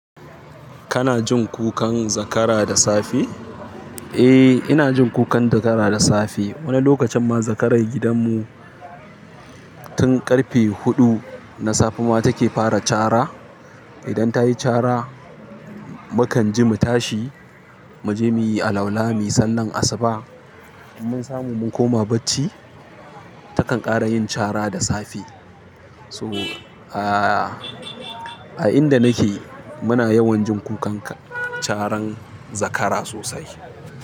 Kana jin kukan zakara da safe? Eh, ina jin kukan zakara da safe. Wani lokacin ma zakarar gidanmu tun ƙarfe huɗu na safe ma take fara cara. Idan ta yi cara, mukan ji mu tashi, mu je muyi alwala, muyi sallar asuba, mun samu mun koma bacci, takan ƙara yin cara da safe. So, a, a inda nake muna yawan jin kukan caran zakara sosai.